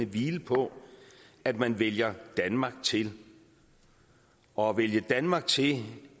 hvile på at man vælger danmark til og at vælge danmark til